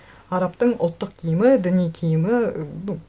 арабтың ұлттық киімі діни киімі і ну